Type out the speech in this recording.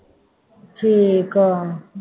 ਠੀਕ ਹੈ